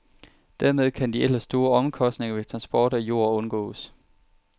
Dermed kan de ellers store omkostninger ved transport af jord undgås.